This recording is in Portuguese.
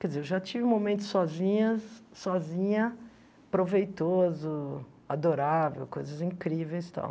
Quer dizer, eu já tive momentos sozinhas, sozinha, proveitoso, adorável, coisas incríveis e tal.